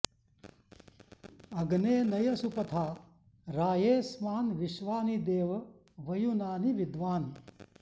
अग्ने नय सुपथा रायेऽस्मान् विश्वानि देव वयुनानि विद्वान्